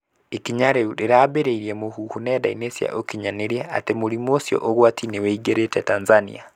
Ikinya rĩu rĩraambĩrĩirie mũhuhu nenda-inĩ cia ũkinyanĩria atĩ mũrimũ ũcio ũgwati nĩũingĩrĩte Tanzania.